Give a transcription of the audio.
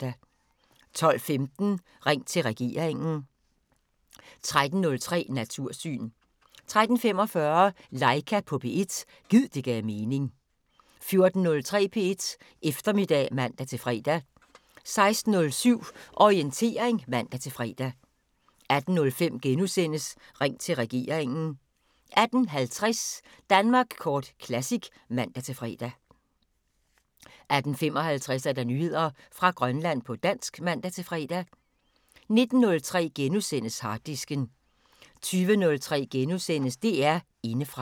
12:15: Ring til regeringen 13:03: Natursyn 13:45: Laika på P1 – gid det gav mening 14:03: P1 Eftermiddag (man-fre) 16:07: Orientering (man-fre) 18:05: Ring til regeringen * 18:50: Danmark Kort Classic (man-fre) 18:55: Nyheder fra Grønland på dansk (man-fre) 19:03: Harddisken * 20:03: DR Indefra *